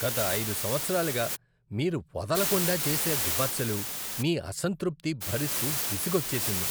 గత ఐదు సంవత్సరాలుగా మీరు వదలకుండా చేసే విమర్శలు, మీ అసంతృప్తి భరిస్తూ విసుగొచ్చేసింది.